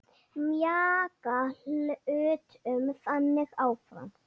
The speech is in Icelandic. Mjaka hlutum þannig áfram.